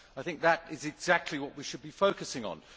I think that is exactly what we should be focusing on.